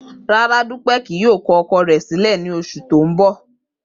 Rara, Dupe kii yoo kọ ọkọ rẹ silẹ ni oṣu ti n bọ.